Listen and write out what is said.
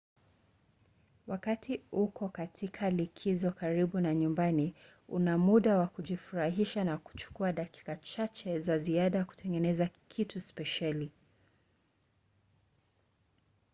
wakati uko katika likizo karibu na nyumbani una muda wa kujifurahisha na kuchukua dakika chache za ziada kutengeneza kitu spesheli